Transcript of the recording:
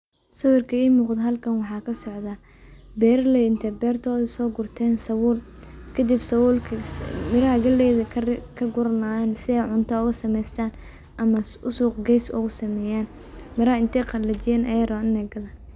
Halkan waxa kasocda beraley inte sogosten sabul kadib sabulki miraha galeyda kaguranayan sii ey cunta ugasubsadan ama uu suq gestan miraha intey qalijiyan ayey rawan in ey gadan.